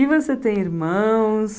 E você tem irmãos?